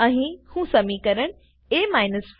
અહીં હું સમીકરણ એ 4